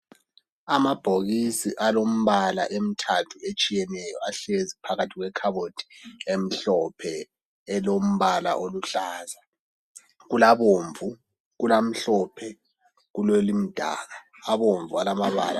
Amabhokisi alombala emthathu etshiyeneyo ahlezi phakathi kwekhabothi emhlophe elombala oluhlaza .Kulabomvu ,kulamhlophe kulelimdaka .Abomvu alamabala.